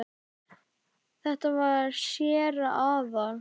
Þetta var séra Aðal